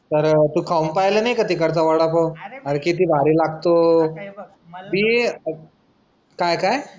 तर तू खाऊन पहिलं नाही का तिकडचं वडा पाव अरे किती भारी लागतो. मी काय काय?